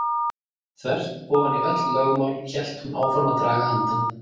Þvert ofan í öll lögmál hélt hún áfram að draga andann.